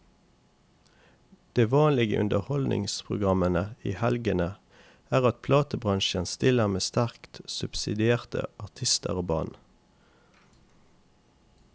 Det vanlige i underholdningsprogrammene i helgene er at platebransjen stiller med sterkt subsidierte artister og band.